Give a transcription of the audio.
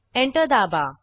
enter दाबा